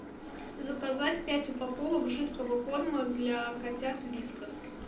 заказать пять упаковок жидкого корма для котят вискас